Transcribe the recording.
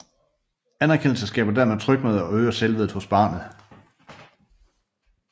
Anerkendelse skaber dermed tryghed og øger selvværdet hos barnet